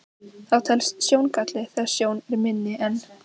Það telst sjóngalli þegar sjón er minni en